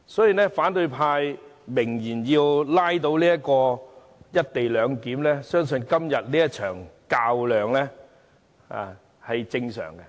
鑒於反對派明言要拉倒"一地兩檢"，今天這場較量是正常的。